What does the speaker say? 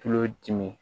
Tulo dimi